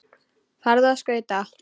Farðu á skauta.